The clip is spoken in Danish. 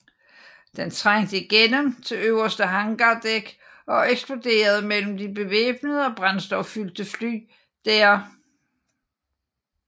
Den trængte igennem til øverste hangardæk og eksploderede mellem de bevæbnede og brændstoffyldte fly der